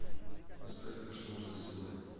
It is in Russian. поставь кошмар за стеной